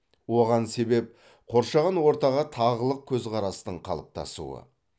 оған себеп қоршаған ортаға тағылық көзқарастың қалыптасуы